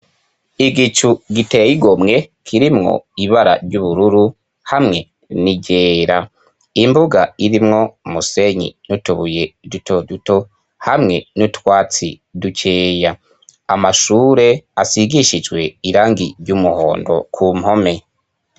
Igicu giteye igomwe kirimwo ibara ry'ubururu hamwe nijera imbuga irimwo musenyi n'utubuye dutoduto hamwe n'utwatsi duceya amashure asigishijwe irangi ry'umuhondo ku mpome.